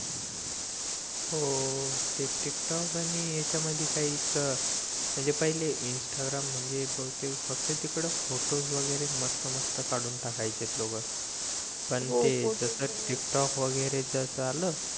हो हो ते टिक टोक आणि याच्या मध्ये काही चं म्हणजे पहिले इंस्टाग्राम म्हणजे ते फक्त ते फोटो वैगरे मस्त मस्त काढून टाकायचे लोक पण ते जस टिक टोक वैगरे च असं आलं